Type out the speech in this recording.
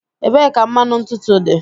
Ebee ka mmanụ ntutu dị?